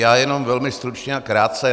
Já jenom velmi stručně a krátce.